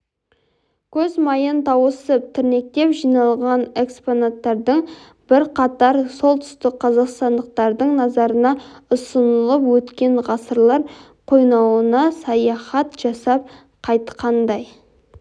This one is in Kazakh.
көз майын тауысып тірнектеп жиналған экспонаттардың бірқатары солтүстікқазақстандықтардың назарына ұсынылып өткен ғасырлар қойнауына саяхат жасап қайтқандай